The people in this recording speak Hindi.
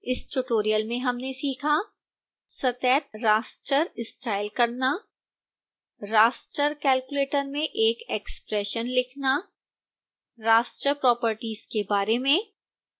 इस tutorial में हमने सीखा